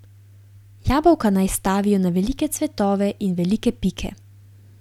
Jabolka naj stavijo na velike cvetove in velike pike.